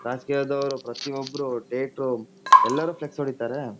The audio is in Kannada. ರಾಜಕೀಯದವ್ರು ಪ್ರತಿಯೊಬ್ರು ಟೇಟ್ರು ಎಲ್ಲಾರು ಫ್ಲೆಕ್ಸ್ ಹೊಡೀತಾರೆ.